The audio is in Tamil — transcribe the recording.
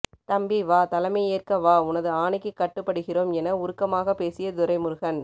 தம்பி வா தலைமையேற்க வா உனது ஆணைக்கு கட்டுபடுகிறோம் என உருக்கமாக பேசிய துரைமுருகன்